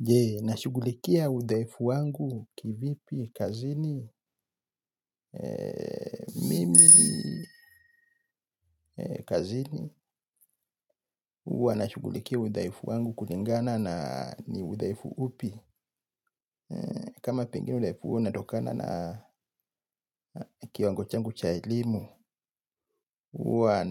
Je, nashughulikia udhaifu wangu kivipi, kazini, mimi, kazini. Huwa nashughulikia udhaifu wangu kulingana na ni udhaifu upi. Kama pengine udhaifu huo unatokana na kiwango changu cha elimu. Huwa